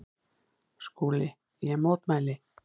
SKÚLI: Ég mótmæli!